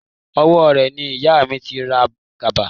Owó rẹ̀ ni ìyà mi ti ra kaba